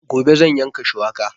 Gobe zan yanka shuwaka